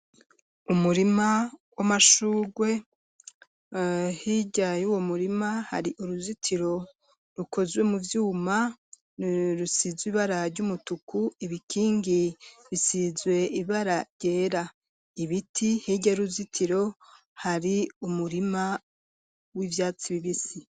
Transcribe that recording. Umurima w'amashugwe hirya yuwo murima hari uruzitiro rukozwe mu vyuma rusizwe ibara ry'umutuku ibikingi bisizwe ibara ryera ibiti hirya y'uruzitiro hari umurima w'ivyatsi bibisi.